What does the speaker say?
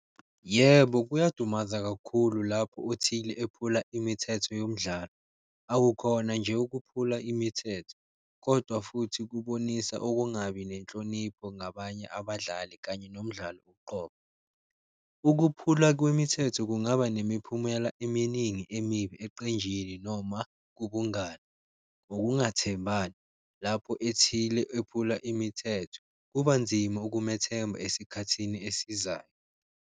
Yebo, kuyadumaza kakhulu lapho othile ephula imithetho yomdlalo, awukhona nje ukuphula imithetho kodwa futhi kubonisa ukungabi nenhlonipho ngabanye abadlali kanye nomdlalo uqobo. Ukuphula kwemithetho kungaba nemiphumela eminingi emibi eqenjini noma kubungani, ukungathembani lapho ethile ephula imithetho, kuba nzima ukumethemba esikhathini esizayo.